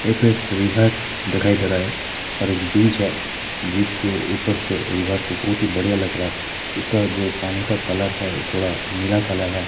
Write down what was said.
देख रहे है एक रिवर दिखाई दे रहा है और एक ब्रीज है ब्रिज के ऊपर से रिवर को बहुत ही बढ़िया लग रहा है इसका जो पानी का कलर है वो थोड़ा नीला कलर है।